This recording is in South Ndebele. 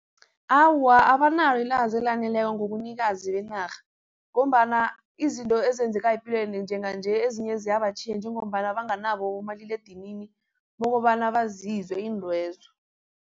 Awa, abanalo ilwazi elaneleko ngobunikazi benarha ngombana izinto ezenzekayo epilweni njenganje ezinye ziyabatjhiya njengombana banganabo abomaliledinini bokobana bazizwe iintwezo.